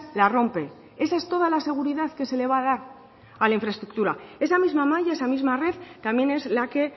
la rompe esa es toda la seguridad que se le va a dar a la infraestructura esa misma malla esa misma red también es la que